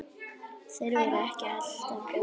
Þær voru ekki alltaf góðar.